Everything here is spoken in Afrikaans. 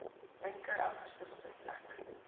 linker agterste sitplek